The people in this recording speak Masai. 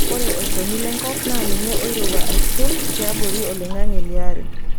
Ore olchoni lenkop naa ninye oirowua asul tiabori olingange liare.